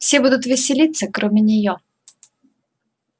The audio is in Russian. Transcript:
все будут веселиться кроме неё